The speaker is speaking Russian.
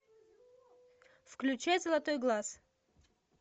включай золотой глаз